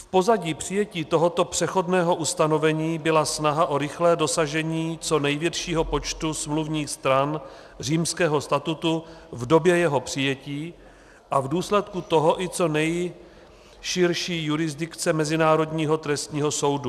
V pozadí přijetí tohoto přechodného ustanovení byla snaha o rychlé dosažení co největšího počtu smluvních stran Římského statutu v době jeho přijetí a v důsledku toho i co nejširší jurisdikce Mezinárodního trestního soudu.